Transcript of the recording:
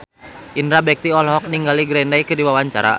Indra Bekti olohok ningali Green Day keur diwawancara